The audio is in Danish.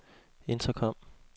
intercom